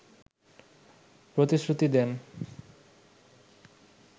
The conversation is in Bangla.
প্রতিশ্রুতি দেন